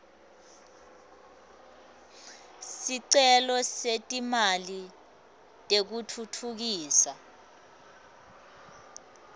sicelo setimali tekutfutfukisa